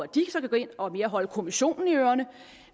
de så kan gå ind og holde kommissionen i ørerne